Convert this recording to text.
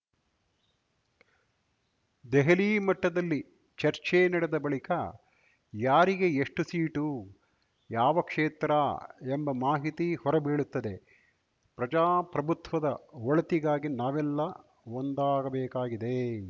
ದೆಹಲಿ ಮಟ್ಟದಲ್ಲಿ ಚರ್ಚೆ ನಡೆದ ಬಳಿಕ ಯಾರಿಗೆ ಎಷ್ಟುಸೀಟು ಯಾವ ಕ್ಷೇತ್ರ ಎಂಬ ಮಾಹಿತಿ ಹೊರ ಬೀಳುತ್ತದೆ ಪ್ರಜಾಪ್ರಭುತ್ವದ ಒಳಿತಿಗಾಗಿ ನಾವೆಲ್ಲಾ ಒಂದಾಗಬೇಕಾಗಿದೆ